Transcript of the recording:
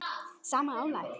sama álag?